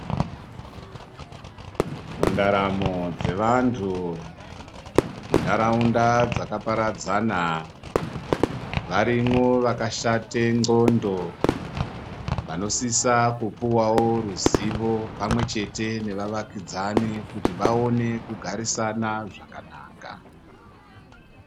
Mundaramo dzevantu muntaraunda dzakaparadzana varimwo vakashata nxondo vanosisa kupuwawo ruzivo pamwe chete nevavakidzani kuti vaone kugarisana zvakanaka.